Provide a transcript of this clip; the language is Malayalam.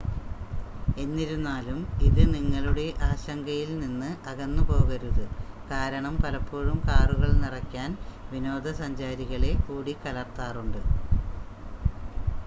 എന്നിരുന്നാലും ഇത് നിങ്ങളുടെ ആശങ്കയിൽ നിന്ന് അകന്നുപോകരുത് കാരണം പലപ്പോഴും കാറുകൾ നിറയ്ക്കാൻ വിനോദസഞ്ചാരികളെ കൂടിക്കലർത്താറുണ്ട്